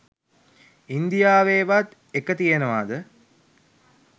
ඉන්දියාවේවත් එක තියෙනවද?